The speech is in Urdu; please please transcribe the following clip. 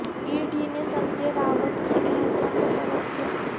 ای ڈی نے سنجے راوت کی اہلیہ کوطلب کیا